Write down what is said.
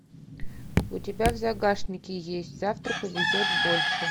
у тебя в загашнике есть завтра повезет больше